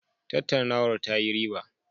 Tattaunawar ta yi riba.